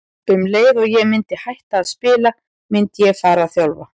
Um leið og ég myndi hætta að spila myndi ég fara að þjálfa.